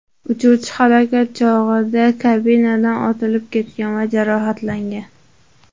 Uchuvchi halokat chog‘i kabinadan otilib ketgan va jarohatlangan.